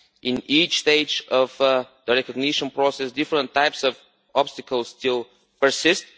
At each stage of the recognition process different types of obstacles still persist.